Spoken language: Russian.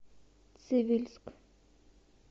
цивильск